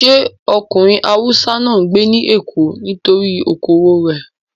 Sé ọkùnrin Haúsá náà ń gbé ní Èkó nítorí okòwò rẹ̀?